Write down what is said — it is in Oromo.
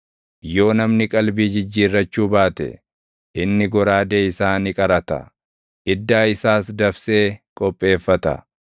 Yoo namni qalbii jijjiirrachuu baate, inni goraadee isaa ni qarata; iddaa isaas dabsee qopheeffata.